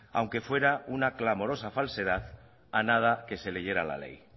aunque fuera una clamorosa falsedad a nada que se leyera la ley